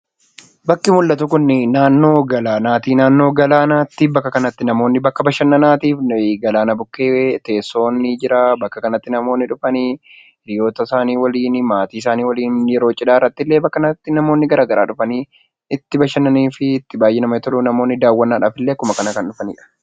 Bakki mul'atu kun, naannoo galaanaati. Naannoo galaanaatti bakka kana namoonni bakka bashannanaatiif , galaana bukkee teessoon ni jira namoonni dhufanii hiriyoota isaanii waliin, maatii isaanii waliin yeroo cidhaa irratti illee namoonni bakka garaagaraa dhufanii itti bashannanii fi itti baayyee namatti toluu namoonni daawwannadhaaf illee akkuma kanaa kan dhufanidha.